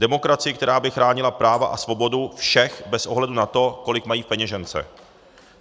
Demokracii, která by chránila práva a svobodu všech, bez ohledu na to, kolik mají v peněžence.